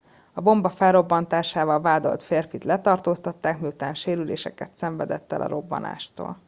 a bomba felrobbantásával vádolt férfit letartóztatták miután sérüléseket szenvedett el a robbanástól